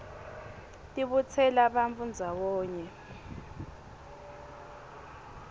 tibutsela bantfu ndzawonye